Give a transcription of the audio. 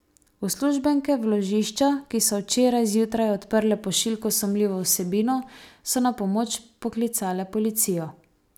Uslužbenke vložišča, ki so včeraj zjutraj odprle pošiljko s sumljivo vsebino, so na pomoč poklicale policijo.